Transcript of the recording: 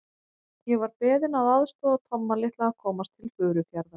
Ég var beðinn að aðstoða Tomma litla að komast til Furufjarðar.